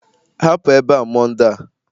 Hapụ ebe a Monde a!